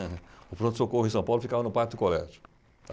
O pronto-socorro em São Paulo ficava no do Colégio.